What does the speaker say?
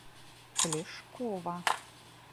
плешкова